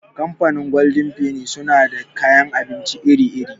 Kamfanin golden feni suna da kayan abinci iri -iri.